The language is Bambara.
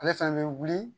Ale fana bɛ wuli